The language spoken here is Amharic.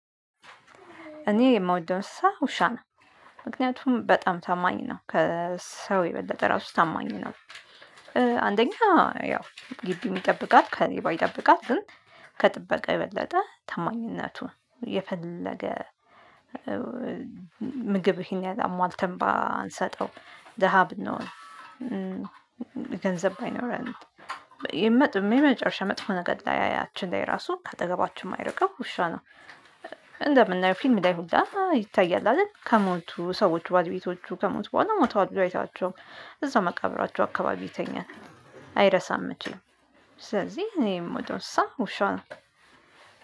እኔ የምወደው እንስሳ ውሻ ነው። ምክንያቱም በጣም ታማኝ ነው ከሰው የበለጠ ራሱ ታማኝ ነው። አንደኛ ያው ግቢውን ይጠብቃት ከሌባ ይጠብቃት ግን ከጥበቃ የበለጠ ታማኝነቱን የፈለገ ምግብህን ያሟልተን ባንሰጠው ደሃ ብንኖር ገንዘብ ባይኖር የመጠበቅ የመጨረሻ መጥፎ ነገር ላይ ያችን ላይ ራሱ ከአጠገባችን የማይርቀው ውሻ ነው። እንደምናየው ፊልም ላይ ሁሉ ይታያል አይደል? ከሞቱ ሰዎች ባልቤቶቹ ከሞቱ በኋላ ሞቷት አይታቸው እዛው መቃብራቸው አካባቢ ይተኛል። አይረሳም የምትለው ስለዚህ እኔም ወደ ውሻ ነው።